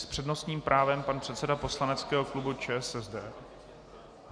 S přednostním právem pan předseda poslaneckého klubu ČSSD.